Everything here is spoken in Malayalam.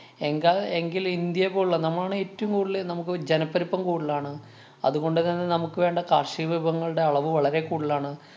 എങ്ക എങ്കില്‍ ഇന്ത്യ പോലുള്ള നമ്മളാണ് ഏറ്റോം കൂടുതല് നമ്മക്ക് ജനപ്പെരുപ്പം കൂടുതലാണ്. അതുകൊണ്ട് തന്നെ നമുക്ക് വേണ്ട കാര്‍ഷിക വിഭവങ്ങളുടെ അളവ് വളരെ കൂടുതലാണ്.